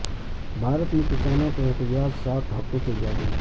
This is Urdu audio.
بھارت میں کسانوں کا احتجاج سات ہفتوں سے جاری